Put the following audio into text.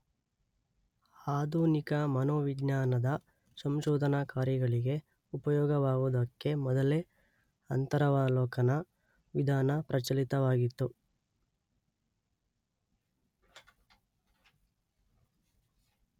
ಆಧುನಿಕ ಮನೋವಿಜ್ಞಾನದ ಸಂಶೋಧನಾ ಕಾರ್ಯಗಳಿಗೆ ಉಪಯೋಗವಾಗುವುದಕ್ಕೆ ಮೊದಲೇ ಅಂತರವಲೋಕನ ವಿಧಾನ ಪ್ರಚಲಿತವಾಗಿತ್ತು.